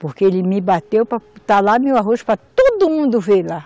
Porque ele me bateu para, está lá meu arroz para todo mundo ver lá.